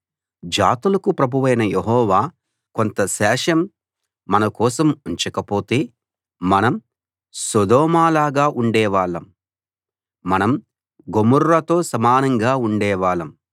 జాతులకు ప్రభువైన యెహోవా కొంత శేషం మన కోసం ఉంచకపోతే మనం సొదొమలాగా ఉండేవాళ్ళం మనం గొమొర్రాతో సమానంగా ఉండేవాళ్ళం